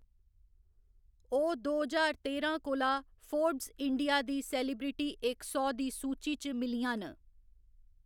ओह्‌‌ दो ज्हार तेरां कोला फोर्ब्स इंडिया दी सेलिब्रिटी इक सौ दी सूची च मिलियां न।